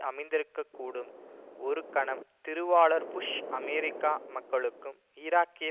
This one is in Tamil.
அமைந்திருக்கக்கூடும் ஒரு கணம் திருவாளர் புஷ் அமெரிக்க மக்களுக்கும் ஈராக்கிய